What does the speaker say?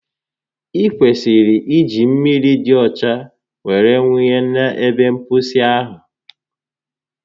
i kwesịrị iji mmiri di ọcha were wunye n'ebe mposi ahụ